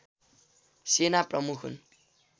सेना प्रमुख हुन्